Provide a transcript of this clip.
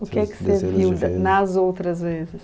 O que é que você viu nas outras vezes?